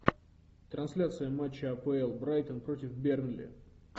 трансляция матча апл брайтон против бернли